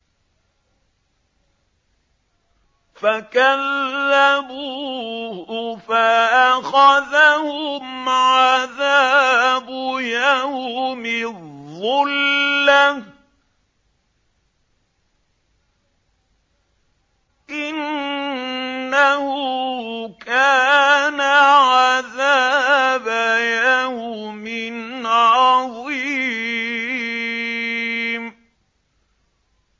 فَكَذَّبُوهُ فَأَخَذَهُمْ عَذَابُ يَوْمِ الظُّلَّةِ ۚ إِنَّهُ كَانَ عَذَابَ يَوْمٍ عَظِيمٍ